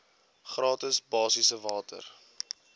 gratis basiese water